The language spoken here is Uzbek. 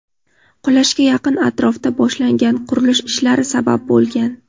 qulashga yaqin atrofda boshlangan qurilish ishlari sabab bo‘lgan.